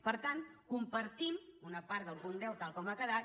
per tant compartim una part del punt deu tal com ha quedat